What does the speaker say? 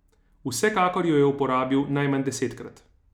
Vsekakor jo je uporabil najmanj desetkrat.